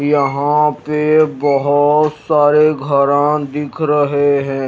यहां पे बहोत सारे घरान दिख रहे हैं।